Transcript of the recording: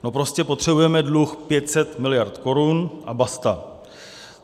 No prostě potřebujeme dluh 500 miliard korun a basta.